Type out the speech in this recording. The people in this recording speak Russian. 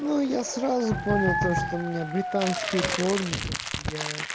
ну я сразу понял то что у меня британские корни то что я